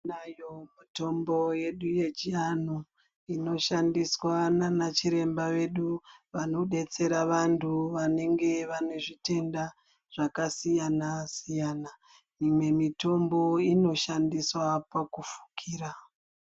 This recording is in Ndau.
Tinayo mitombo yedu yechianhu inoshandiswa naanachiremba vedu vanodetsera vantu vanenge vane zvitenda zvakasiyana- siyana. Imwe mitombo inoshandiswa pakufukira.